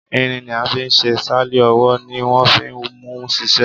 Irin ni a fi ṣe sáàlì ọwọ́ ni wọ́n fi ń múu ṣiṣẹ́.